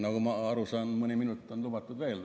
Nagu ma aru saan, mõni minut on lubatud veel.